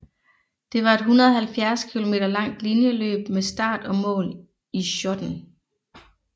Det var et 170 km langt linjeløb med start og mål i Schoten